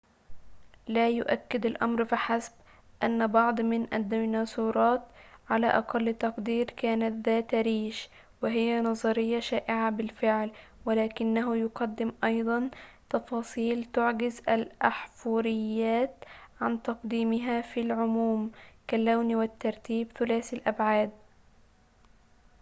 لا يؤكد الأمر فحسب أن بعض من الديناصورات على أقل تقدير كانت ذات ريش وهي نظرية شائعة بالفعل ولكنه يقدم أيضًا تفاصيل تعجز الأحفوريات عن تقديمها في العموم كاللون والترتيب ثلاثيّ الأبعاد